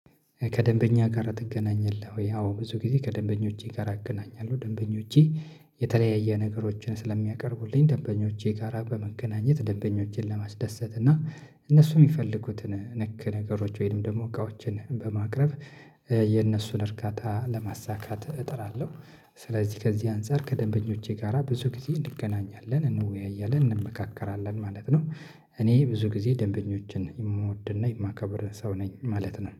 ከደንበኛ ጋር ትገናኛለህ? ወይ አዎ ብዙ ጊዜ ከደንበኞቼ ጋር አገናኛለሁ ደንበኞቼ የተለያየ ነገሮችን ስለሚያቀርቡልኝ ደንበኞቼ ጋራ በመገናኘት ደንበኞቼን ለማስደሰት እና እነሱ የሚፈልጉትን ነክ ነገሮች ወይም ደግሞ እቃዎችን በማቅረብ የነሱን እርካታ ለማሳካት እጥራለሁ። ስለዚህ ከዚህ አንፃር ከደንበኞቼ ጋራ ብዙ ጊዜ እንገናኛለን እንወያያለን እንመካከራለን ማለት ነው። እኔ ብዙ ጊዜ ደንበኞችን የምወድና የማከብር ሰው ነኝ ማለት ነው